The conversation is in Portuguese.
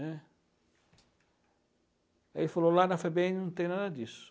né. Aí ele falou, lá na Febem não tem nada disso.